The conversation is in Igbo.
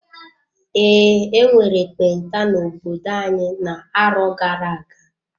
Ee, enwere ekpenta n'obodo anyị na-arọ gara-aga.